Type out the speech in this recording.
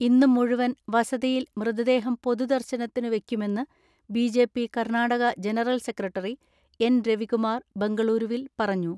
ഇന്നു മുഴുവൻ വസതിയിൽ മൃതദേഹം പൊതുദർശനത്തിനു വെയ്ക്കുമെന്ന് B J P Karnataka general secretary N Ravikumar ബംഗളൂരുവിൽ പറഞ്ഞു.